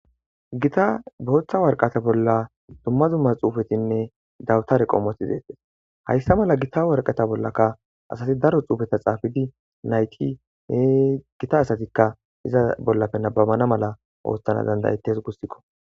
Gita booththa warqata bolla dumma zumma xuufetinne dawutare qoomothi deettes hayssa mala gita warqata bollaka asati daro xuufeta xaafidi nayti hee gita asatikka iza bollape nababana mala oosthana dandayetes gussikko.